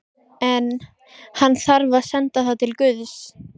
En- hann þarf að senda það til guðs.